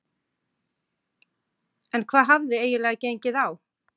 En hvað hafði eiginlega gengið á?